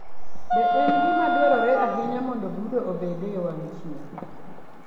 Be en gima dwarore ahinya mondo brooder obed e wang' chieng'?